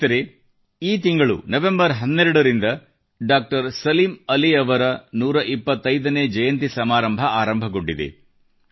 ಸ್ನೇಹಿತರೆ ಈ ತಿಂಗಳು 12 ನವೆಂಬರ್ ನಿಂದ ಡಾಕ್ಟರ್ ಸಲೀಂ ಅಲಿ ಅವರ 125 ನೇ ಜಯಂತಿ ಸಮಾರಂಭ ಆರಂಭಗೊಂಡಿದೆ